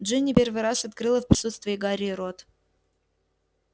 джинни первый раз открыла в присутствии гарри рот